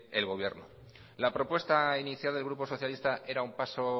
el gobierno la propuesta inicial del grupo socialista era un paso